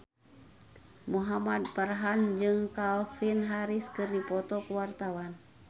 Muhamad Farhan jeung Calvin Harris keur dipoto ku wartawan